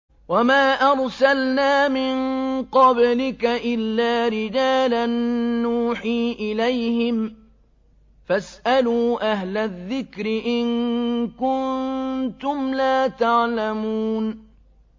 وَمَا أَرْسَلْنَا مِن قَبْلِكَ إِلَّا رِجَالًا نُّوحِي إِلَيْهِمْ ۚ فَاسْأَلُوا أَهْلَ الذِّكْرِ إِن كُنتُمْ لَا تَعْلَمُونَ